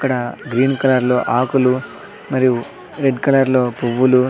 ఇక్కడ green colour లో ఆకులు మరియు రెడ్ కలర్ లో పువ్వులు --